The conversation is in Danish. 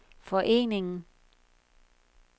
foreningen